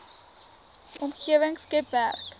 omgewing skep werk